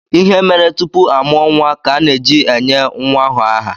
Ihe mere tupu a mụọ nwa ka ana-eji enye nwa ahụ aha.